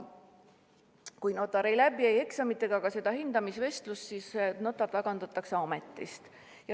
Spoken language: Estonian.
Kui notar ei läbi ei eksamit ega ka seda hindamisvestlust, siis ta tagandatakse ametist.